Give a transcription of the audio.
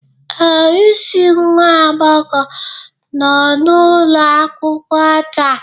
Ee, isi nwa agbọghọ nọ n'ụlọ akwụkwọ taa